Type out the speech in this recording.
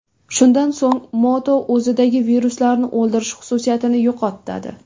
Shundan so‘ng mato o‘zidagi viruslarni o‘ldirish xususiyatini yo‘qotadi.